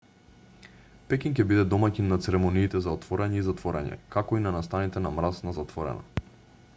пекинг ќе биде домаќин на церемониите за отворање и затворање како и на настаните на мраз на затворено